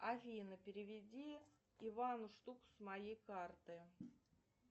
афина переведи ивану штуку с моей карты